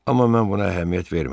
Amma mən buna əhəmiyyət vermədim.